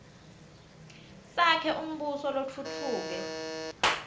sakhe umbuso lotfutfuke